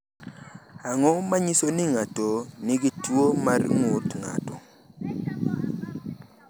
Ang’o ma nyiso ni ng’ato nigi tuwo mar ng’ut ng’ato?